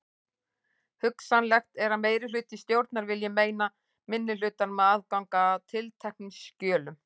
Hugsanlegt er að meirihluti stjórnar vilji meina minnihlutanum aðgang að tilteknum skjölum.